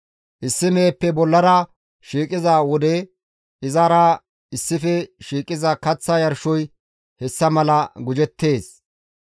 Issi meheppe bollara shiiqiza wode izara issife shiiqiza kaththa yarshoy hessa mala gujettees.